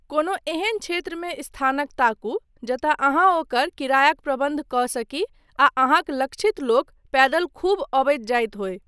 कोनो एहन क्षेत्रमे स्थानक ताकू जतय अहाँ ओकर किरायाक प्रबन्ध कऽ सकी आ अहाँक लक्षित लोक पैदल खूब अबैत जाइत होय।